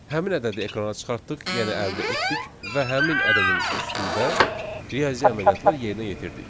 Həmin ədədi ekrana çıxartdıq, yəni əldə etdik və həmin ədədin üstündə riyazi əməliyyatlar yerinə yetirdik.